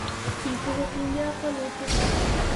Biitu kotien gee ak walutik ab